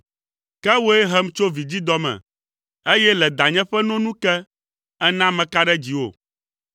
Ke wòe hem tso vidzidɔ me, eye le danye ƒe no nu ke, èna meka ɖe dziwò.